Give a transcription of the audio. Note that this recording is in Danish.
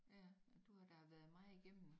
Ja du har da været meget igennem